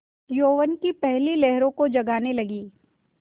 यौवन की पहली लहरों को जगाने लगी